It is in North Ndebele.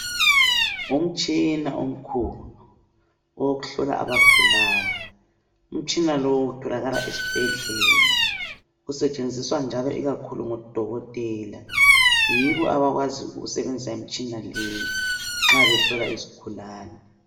Umtshina omkhulu owokuhlola abagulayo, umtshina lo utholakala esibhedlela usetshenziswa njalo ikakhulu ngodokotela yibo abakwazi ukusebenzisa imitshina leyi nxa behlola izigulane.